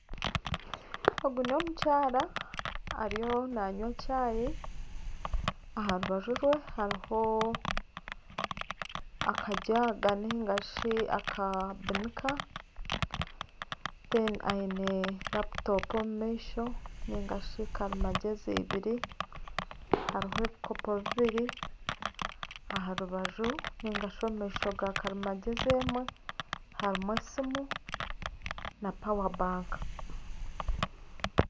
Ogu n'omukyara erimu nanywa chai aha rubaju rwe hariho akajaga nigashi akabinika reero aine laputopu omu maisho narishi karimagyezi ibiri hariho ebikopo bibiri aha rubaju nigashi omu maisho ga karimagyezi emwe harimu esiimu na power bank.